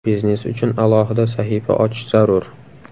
Biznes uchun alohida sahifa ochish zarur.